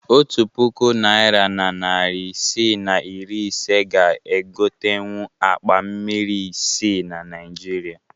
Otu puku naịra na narị isii na iri ise ga egotenwu akpa mmiri isii na Naịjirịa